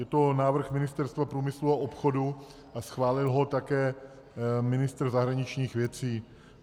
Je to návrh Ministerstva průmyslu a obchodu a schválil ho také ministr zahraničních věcí.